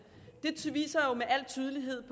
det viser jo med al tydelighed at